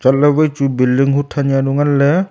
chatley vai chu building hothan zaunu nganley.